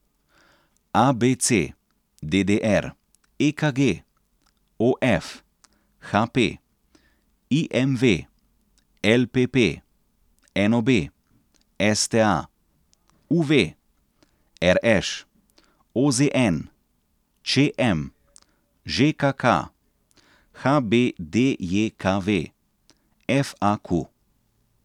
A B C; D D R; E K G; O F; H P; I M V; L P P; N O B; S T A; U V; R Š; O Z N; Č M; Ž K K; H B D J K V; F A Q.